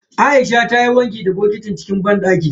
Aisha ta yi wanki da bokitin cikin banɗaki.